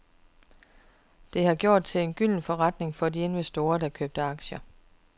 Det har gjort det til en gylden forretning for de investorer, der købte aktierne.